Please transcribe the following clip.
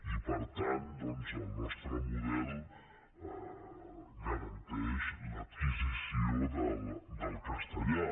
i per tant doncs el nostre model garanteix l’adquisició del castellà